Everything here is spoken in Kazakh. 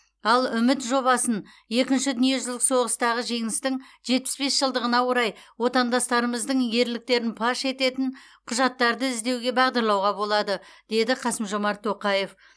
ал үміт жобасын екінші дүниежүзілік соғыстағы жеңістің жетпіс бес жылдығына орай отандастарымыздың ерліктерін паш ететін құжаттарды іздеуге бағдарлауға болады деді қасым жомарт тоқаев